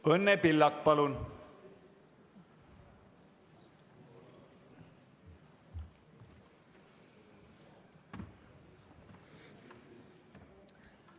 Õnne Pillak, palun!